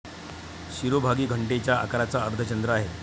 शिरोभागी घंटेच्या आकाराचा अर्धचंद्र आहे.